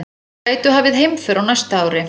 Gætu hafið heimför á næsta ári